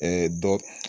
dɔ